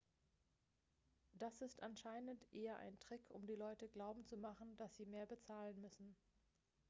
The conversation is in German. das ist anscheinend eher ein trick um die leute glauben zu machen dass sie mehr bezahlen müssen